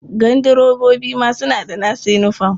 Gandirebobi ma suna da nasu yinifom.